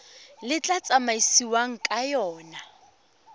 le tla tsamaisiwang ka yona